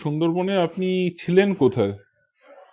সুন্দরবনে আপনি ছিলেন কোথায়